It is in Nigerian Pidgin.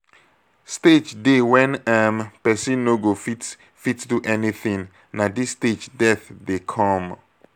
stage dey when um person no go fit fit do anything na this stage death dey come